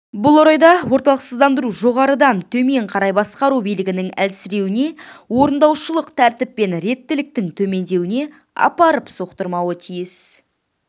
бұл орайда орталықсыздандыру жоғарыдан төмен қарай басқару билігінің әлсіреуіне орындаушылық тәртіп мен реттіліктің төмендеуіне апарып соқтырмауы тиіс